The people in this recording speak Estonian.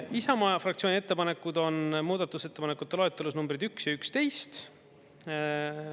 Isamaa fraktsiooni ettepanekud on muudatusettepanekute loetelus numbrid 1 ja 11.